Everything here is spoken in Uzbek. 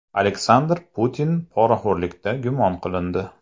Aleksandr Putin poraxo‘rlikda gumon qilindi.